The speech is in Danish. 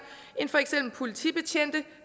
end for eksempel politibetjente